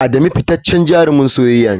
Adamu fitaccen jarumin soyayya ne.